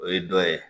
O ye dɔ ye